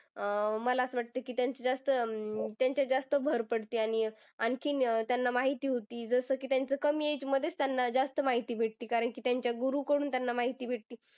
अं मला असं वाटतं की, त्यांची जास्त अं त्यांच्यात जास्त भर पडते. आणि आणखीन त्यांना माहिती होती जसं की त्यांच कमी age मध्ये त्यांना जास्त माहिती भेटते. कारण की त्यांच्या गुरूकडून त्यांना माहिती भेटते.